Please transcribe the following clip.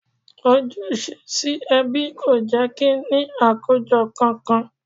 Ojúṣe sí ẹbí kò jẹ́ kí n ní àkójọ kankan